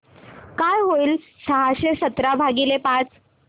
काय होईल सहाशे सतरा भागीले पाच